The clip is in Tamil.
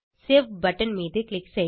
சேவ் பட்டன் மீது க்ளிக் செய்க